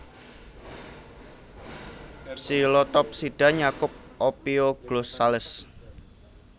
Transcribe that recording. Psilotopsida nyakup Ophioglossales